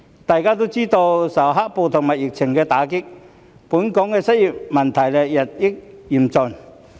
大家也知道，受"黑暴"和疫情打擊，本港的失業問題日益嚴峻。